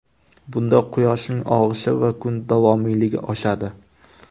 Bunda quyoshning og‘ishi va kun davomiyligi oshadi.